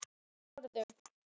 Með orðum.